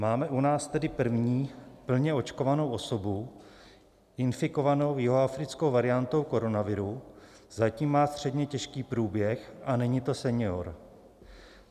Máme u nás tedy první plně očkovanou osobu infikovanou jihoafrickou variantou koronaviru, zatím má středně těžký průběh a není to senior.